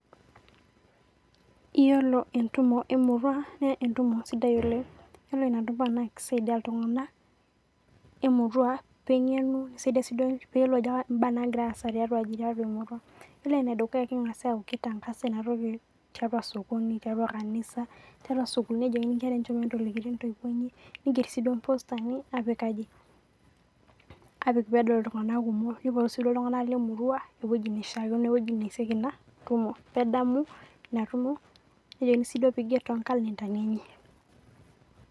Iyiolo entumo emurua naa entumo sidai oleng', ore enedukuya naa kisaidia iltung'anak lemurua pee eyiolou ajo kainyoo nagira aendelea, naa kitangasa tiatua sokoni, te kanisa, tiatua sukuul nelikini inkera ajo enchom entoliki intoiwuo, nejokini pee eigerr iltung'anak too ngalentani enye pee edamu.